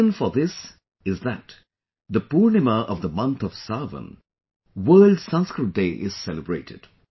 The reason for this is that the Poornima of the month of Sawan, World Sanskrit Day is celebrated